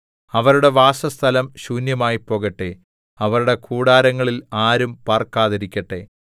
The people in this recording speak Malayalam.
അവരുടെ വാസസ്ഥലം ശൂന്യമായിപ്പോകട്ടെ അവരുടെ കൂടാരങ്ങളിൽ ആരും പാർക്കാതിരിക്കട്ടെ